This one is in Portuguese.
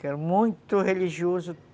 Que era muito religioso.